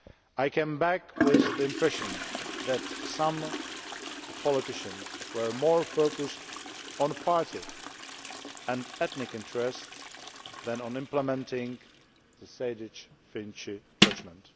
I came back with the impression that some the politicians were more focused on the party and ethnic interests than on implementing the Sejdić Finci judgement.